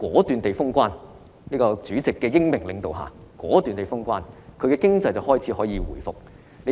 在主席的英明領導下，武漢願意果斷封城，現在市內經濟便可以開始回復。